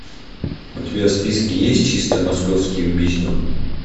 у тебя в списке есть чисто московские убийства